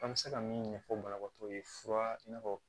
An bɛ se ka min ɲɛfɔ banabaatɔ ye fura i n'a fɔ